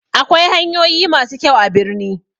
Akwai hanyoyi masu kyau a birni